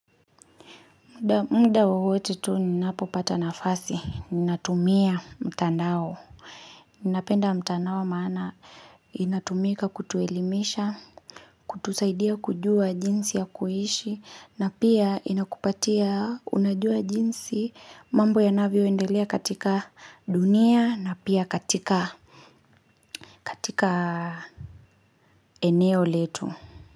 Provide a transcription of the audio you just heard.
Mda wowote tu ninapopata nafasi, ninatumia mtandao, ninapenda mtandao maana inatumika kutuelimisha, kutusaidia kujua jinsi ya kuishi, na pia inakupatia unajua jinsi mambo yanavyo endelea katika dunia na pia katika eneo letu.